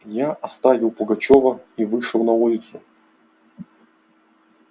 я оставил пугачёва и вышел на улицу